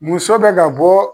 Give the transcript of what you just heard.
Muso bɛ ka bɔ